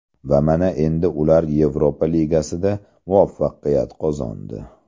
Va mana endi ular Yevropa ligasida muvaffaqiyat qozondi.